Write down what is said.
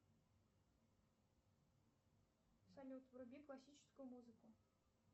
салют вруби классическую музыку